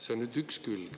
See on nüüd üks külg.